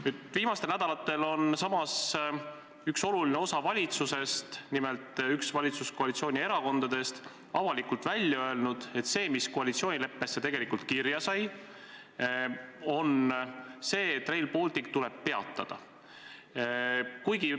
Nüüd, viimastel nädalatel, on üks oluline osa valitsusest, nimelt üks valitsuskoalitsiooni erakondadest, avalikult välja öelnud, et asi, mis koalitsioonileppesse tegelikult kirja sai – Rail Baltic – tuleb peatada.